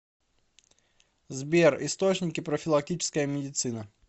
сбер источники профилактическая медицина